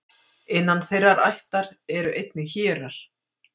innan þeirrar ættar eru einnig hérar